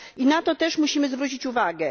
I na to też musimy zwrócić uwagę.